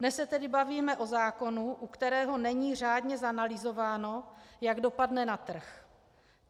Dnes se tedy bavíme o zákonu, u kterého není řádně zanalyzováno, jak dopadne na trh.